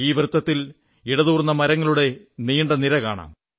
ഈ വൃത്തത്തിൽ ഇടതൂർന്ന മരങ്ങളുടെ നിര കാണാം